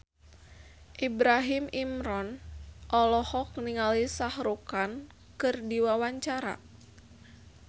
Ibrahim Imran olohok ningali Shah Rukh Khan keur diwawancara